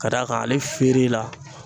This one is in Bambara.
Ka d'a kan ale feere la